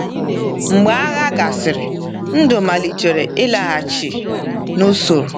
Mgbe agha gasịrị, ndụ malitere ịlaghachi n’usoro.